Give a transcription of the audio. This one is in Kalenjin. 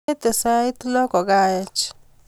Angete sait loo kokaech